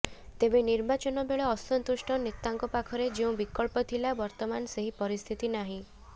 ତେବେ ନିର୍ବାଚନବେଳେ ଅସନ୍ତୁଷ୍ଟ ନେତାଙ୍କ ପାଖରେ ଯେଉଁ ବିକଳ୍ପ ଥିଲା ବର୍ତ୍ତମାନ ସେହି ପରିସ୍ଥିତି ନାହିଁ